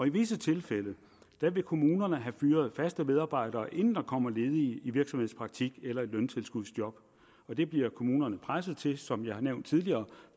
i visse tilfælde vil kommunerne have fyret de faste medarbejdere inden der kommer ledige i virksomhedspraktik eller løntilskudsjob og det bliver kommunerne presset til som jeg har nævnt tidligere